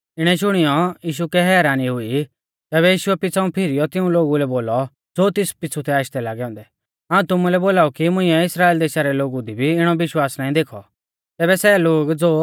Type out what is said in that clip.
इणै शुणियौ यीशु कै हैरानी हुई तैबै यीशुऐ पिछ़ाऊं फिरीयौ तिऊं लोगु लै बोलौ ज़ो तेस पिछ़ु थै आशदै लागै औन्दै हाऊं तुमुलै बोलाऊ कि मुंइऐ इस्राइल देशा रै लोगु दी भी इणौ विश्वास नाईं देखौ